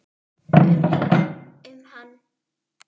Um hana?